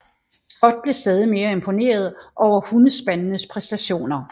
Scott blev stadig mere imponeret over hundespandenes præstationer